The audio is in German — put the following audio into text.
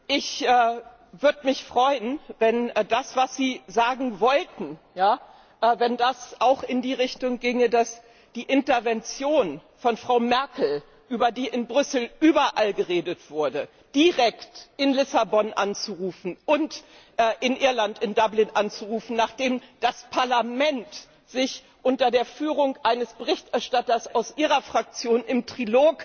Herr Caspary! Ich würde mich freuen, wenn das, was Sie sagen wollten, auch in die Richtung ginge, dass die Intervention von Frau Merkel, über die in Brüssel überall geredet wurde, direkt in Lissabon anzurufen und in Irland in Dublin anzurufen, nachdem das Parlament sich unter der Führung eines Berichterstatters aus Ihrer Fraktion im Trilog